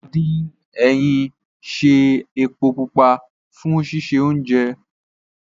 Àdín ẹyìn ń ṣe epo pupa fún sísè oúnjẹ